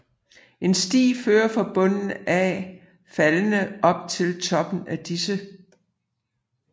En sti fører fra bunden af faldene op til toppen af disse